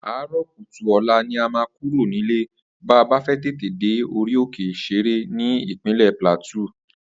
Àárò̩ kùtù ò̩la ni a máa kúrò nílé ba bá fé̩ tètè dé Orí òkè Shere ní Ìpínlè̩ Plateau